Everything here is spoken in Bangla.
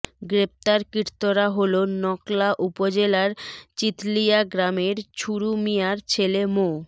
গ্রেপ্তারকৃতরা হলো নকলা উপজেলার চিথলিয়া গ্রামের ছুরু মিয়ার ছেলে মো